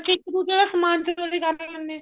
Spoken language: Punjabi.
ਬੱਚੇ ਇੱਕ ਦੂਜੇ ਦਾ ਸਮਾਨ ਚੋਰੀ ਕਰ ਲੈਂਦੇ ਨੇ